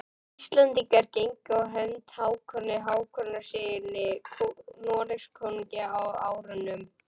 Íslendingar gengu á hönd Hákoni Hákonarsyni Noregskonungi á árunum